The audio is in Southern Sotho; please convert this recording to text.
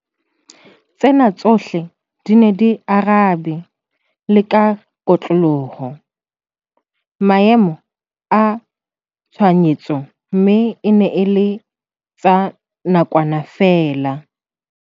Tsena tsohle di ne di arabe la ka kotloloho maemo a tshohanyetso mme e ne e le tsa nakwana feela.